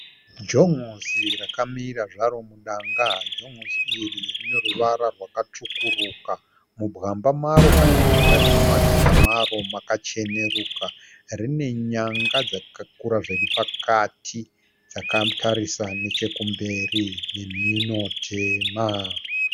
Jon'osi rakamira zvaro mudanga. Jon'osi iri rineruvara rwakatsvukuruka mubwamba maro kana matingati mumateya maro makacheneruka. Rinenyanga dzakakura zviripakati dzakatarisa nechekumberi, nemhino tema.